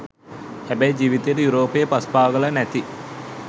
හැබැයි ජීවිතේට යුරෝපයේ පස් පාගල නැති